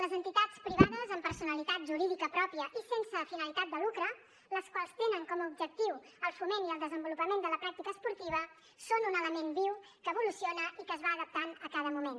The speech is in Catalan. les entitats privades amb personalitat jurídica pròpia i sense finalitat de lucre les quals tenen com a objectiu el foment i el desenvolupament de la pràctica esportiva són un element viu que evoluciona i que es va adaptant a cada moment